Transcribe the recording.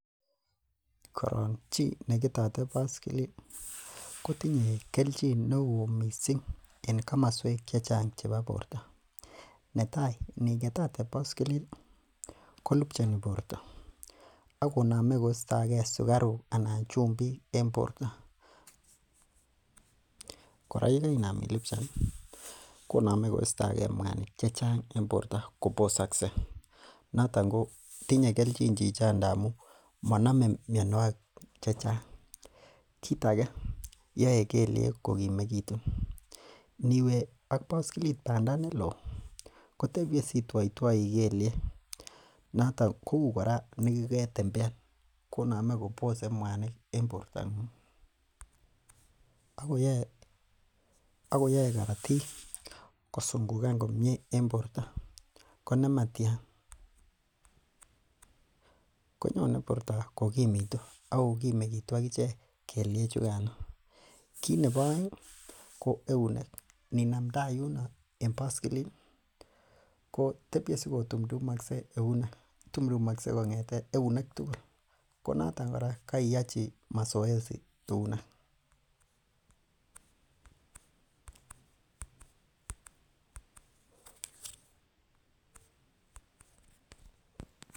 Koron chi neketote baskilit kotinye kelchin neoo en komosuek chechang nebo borto nyin. Natai ini ketote baskilit konamei kolubchani borto akonome koistagee sukaruk anan chumbik en borto. Kora yegainaam ilubchan konamei koistagee muanik chechang en borto kobosaksei notoon ko tinye kelchin chichono amuun monamei mionogik chechang. Kit age yoe kelyeeg kokimegitu iniwe ak baskilit bandaa neloo kotebie sitwatwoii kelyeek notoon kouu kora negu ketembean konamei kobose mwanik en borto Ako yoei korotiik kosingugan komie en borto konematian konyone borto kokimitu Ako gimegitu akichek keliek chugan. kinebo aeng ko eunek en baskilit ko tebie siko tumtumoksei eunek tugul konoton koiuachi mazoezi eunek.